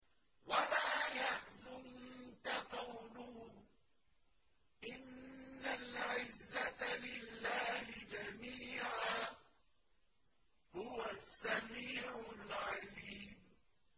وَلَا يَحْزُنكَ قَوْلُهُمْ ۘ إِنَّ الْعِزَّةَ لِلَّهِ جَمِيعًا ۚ هُوَ السَّمِيعُ الْعَلِيمُ